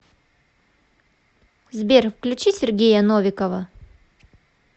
сбер включи сергея новикова